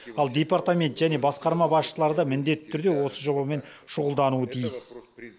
ал департамент және басқарма басшылары да міндетті түрде осы жобамен шұғылдануы тиіс